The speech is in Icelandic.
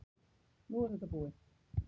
Nú er þetta bara búið.